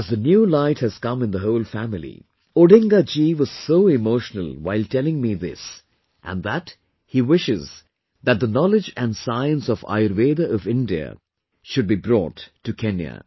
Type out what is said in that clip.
As the new light has come in the whole family, Odinga ji was so emotional while telling me this and that he wishes, that the knowledge and science of Ayurveda of India, should be brought to Kenya